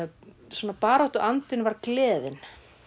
svona baráttuandinn var gleðin